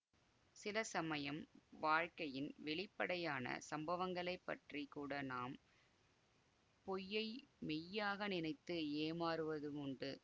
சில சமயம் வாழ்க்கையின் வெளிப்படையான சம்பவங்களைப்பற்றிக் கூட நாம் பொய்யை மெய்யாக நினைத்து ஏமாறுவதுமுண்டு